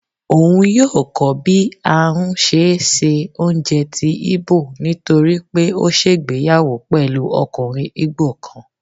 òun yóò kó bí a n ṣe sé oúnjẹ tí Igbo, nitoripe o ṣègbéyàwó pẹlú okùnrin Igbo kan.